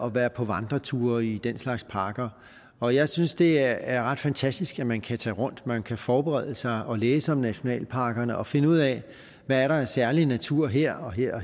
at være på vandreture i den slags parker og jeg synes det er ret fantastisk at man kan tage rundt og man kan forberede sig og læse om nationalparkerne og finde ud af hvad der er af særlig natur her og her og